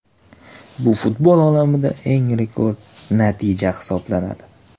Bu futbol olamidagi eng rekord natija hisoblanadi.